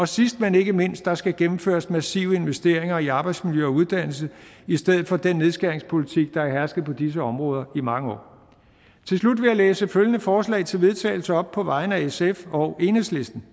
sidst men ikke mindst der skal gennemføres massive investeringer i arbejdsmiljø og uddannelse i stedet for den nedskæringspolitik der har hersket på disse områder i mange år til slut vil jeg læse følgende forslag til vedtagelse op på vegne af sf og enhedslisten